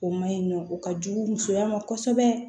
O ma ɲi nɔ o ka jugu musoya ma kosɛbɛ